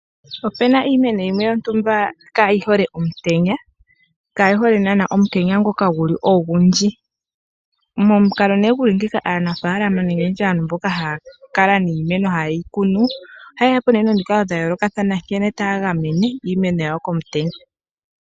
Opena iimeno yimwe yontumba kaayi hole omutenya, kaayi hole naanaa omutenya ngoka guli ogundji momukalo nee guli ngeika aanafaalama nenge nditye aantu mboka haa kala niimeno, haye yi kunu ohaya ye po nee nomikalo dha yoolokathana nkene taa gamene iimeno yawo komutenya.